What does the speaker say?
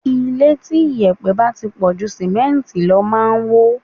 Ilé tí yèpẹ̀ bá ti pọ̀ ju Símẹ́ǹtì lọ máa ń wó.